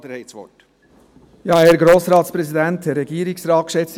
Herr Rappa, Sie haben das Wort.